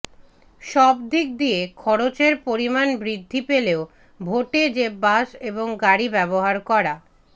সবদিক দিয়ে খরচের পরিমাণ বৃদ্ধি পেলেও ভোটে যে বাস এবং গাড়ি ব্যবহার করা